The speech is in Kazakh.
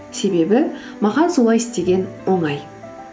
себебі маған солай істеген оңай